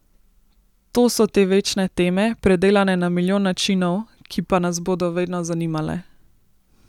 To so te večne teme, predelane na milijon načinov, ki pa nas bodo vedno zanimale.